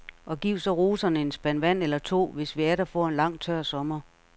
Og giv så roserne en spand vand eller to, hvis vi atter får en lang, tør sommer.